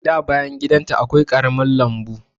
Da bayan gidan ta akwai ƙarami lambu.